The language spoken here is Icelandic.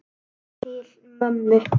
Til mömmu.